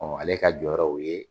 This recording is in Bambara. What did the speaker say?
Ɔ ale ka jɔyɔrɔ y'o ye.